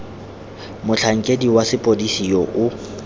motlhankedi wa sepodisi yo o